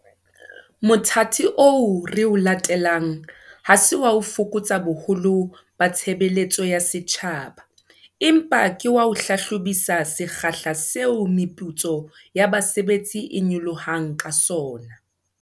Mothati oo re o latelang ha se wa ho fokotsa boholo ba tshebeletso ya setjhaba, empa ke wa ho hlahlobisisa sekgahla seo meputso ya basebetsi e nyolohang ka sona.